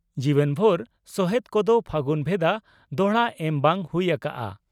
ᱡᱤᱣᱮᱫᱵᱷᱳᱨ ᱥᱚᱦᱮᱛ ᱠᱚᱫᱚ ᱯᱷᱟᱹᱜᱩᱱ ᱵᱷᱮᱫᱟ ᱫᱚᱦᱲᱟ ᱮᱢ ᱵᱟᱝ ᱦᱩᱭ ᱟᱠᱚᱜᱼᱟ ᱾